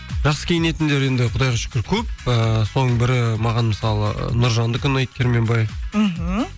жақсы киінетіндер енді құдайға шүкір көп ыыы соның бірі маған мысалы нұржандікі ұнайды керменбаев мхм